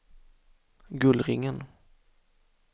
Gullringen